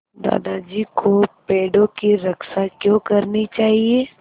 दादाजी को पेड़ों की रक्षा क्यों करनी चाहिए